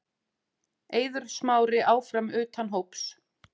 Eiður Smári áfram utan hóps